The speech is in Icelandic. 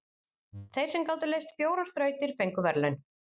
Þeir sem gátu leyst fjórar þrautir fengu verðlaun.